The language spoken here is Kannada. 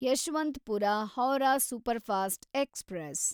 Yeshwanthpur Howrah superfast express